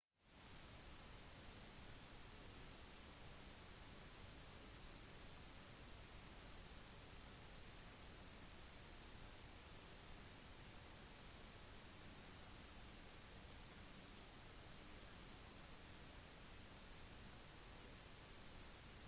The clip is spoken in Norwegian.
spenninger på overflaten skjer fordi vannmolekyler ved overflaten av vannet er sterkt tiltrukket av hverandre mer enn de er for luftmolekylene over seg